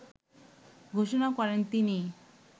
ঘোষণা করেন তিনি।